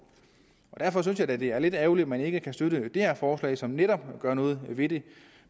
derfor synes jeg da det er lidt ærgerligt at man ikke kan støtte det her forslag som netop gør noget ved det